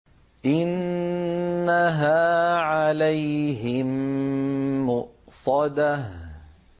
إِنَّهَا عَلَيْهِم مُّؤْصَدَةٌ